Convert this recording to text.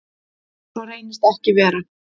Svo reyndist ekki vera.